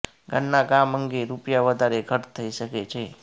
ઘરના કામ અંગે રૂપિયા વધારે ખર્ચ થઇ શકે છે